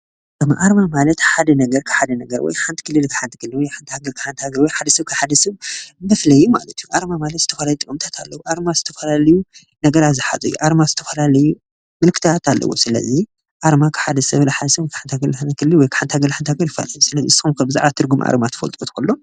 ኣርማ ማለት ፉሉይ መለለይ ማለት እንትኸውን እዚ ኸዓ ካብ ቦታ ናብ ዝተፈለየ እዩ።